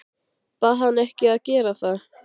Bað hann að gera það ekki.